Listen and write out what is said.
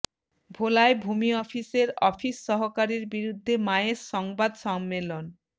ভোলায় ভূমি অফিসের অফিস সহকারীর বিরুদ্ধে মায়ের সংবাদ সম্মেলন